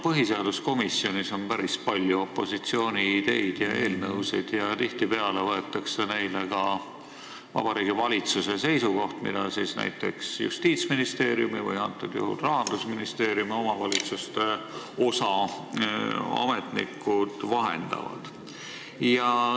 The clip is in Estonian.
Põhiseaduskomisjoni menetluses on päris palju opositsiooni ideid ja eelnõusid ning tihtipeale küsitakse nende kohta ka Vabariigi Valitsuse seisukohta, mida siis Justiitsministeeriumi või antud juhul Rahandusministeeriumis omavalitsustega tegelevad ametnikud vahendavad.